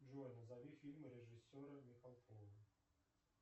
джой назови фильмы режиссера михалкова